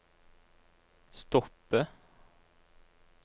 stoppe